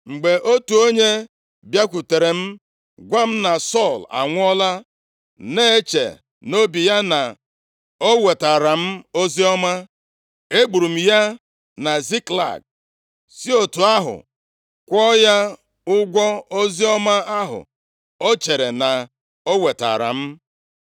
mgbe otu onye + 4:10 \+xt 2Sa 1:2-16\+xt* bịakwutere m gwa m na Sọl anwụọla, na-eche nʼobi ya na o wetaara m oziọma. Egburu m ya na Ziklag, si otu ahụ kwụọ ya ụgwọ oziọma ahụ o chere na ọ wetaara m.